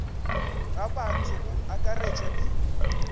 ga batho go akaretšwa le